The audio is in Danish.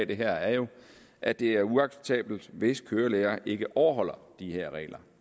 det her er jo at det er uacceptabelt hvis kørelærere ikke overholder de regler